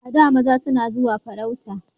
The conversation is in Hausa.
A da maza suna zuwa farauta